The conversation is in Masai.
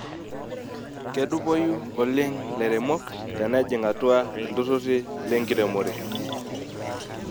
Kedupoyu oleng lairemok tenejing' atua ilturruri lenkiremore.